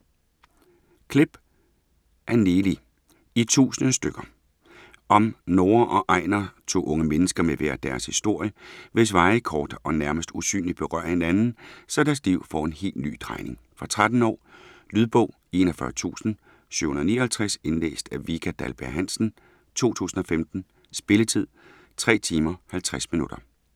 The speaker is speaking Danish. Klepp, Anneli: I tusind stykker Om Norah og Einar, to unge mennesker med hver deres historie, hvis veje kort og nærmest usynligt berører hinanden, så deres liv får en helt ny drejning. Fra 13 år. Lydbog 41759 Indlæst af Vika Dahlberg-Hansen, 2015. Spilletid: 3 timer, 50 minutter.